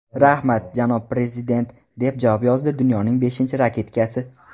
Rahmat, janob prezident!” deb yozdi dunyoning beshinchi raketkasi.